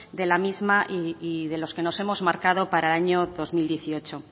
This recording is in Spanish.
de la misma y de los que nos hemos marcado para el año dos mil dieciocho